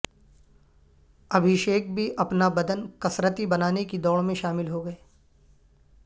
ابھیشیک بھی اپنا بدن کسرتی بنانے کی دوڑ میں شامل ہوگئے ہیں